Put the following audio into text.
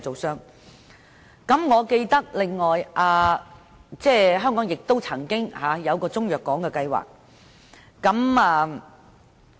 此外，我還記當局曾經提出一個中藥港計劃。